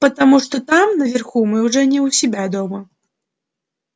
потому что там наверху мы уже не у себя дома